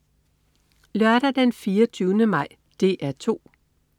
Lørdag den 24. maj - DR 2: